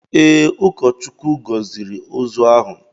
Ee, ụkọchukwu gọziri ozu ahụ.